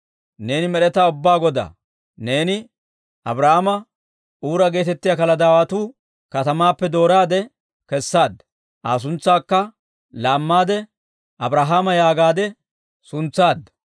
«Neeni Med'etaa Ubbaa Godaa! Neeni Abraama Uura geetettiyaa Kaladaawatuu katamaappe dooraade kessaadda; Aa suntsaakka laammaade, Abrahaama yaagaadde suntsaadda.